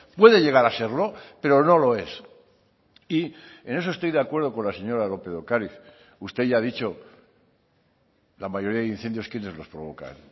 puede llegar a serlo pero no lo es y en eso estoy de acuerdo con la señora lópez de ocariz usted ya ha dicho la mayoría de incendios quienes los provocan